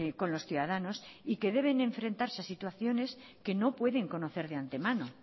con los ciudadanos y que deben enfrentarse a situaciones que no pueden conocer de antemano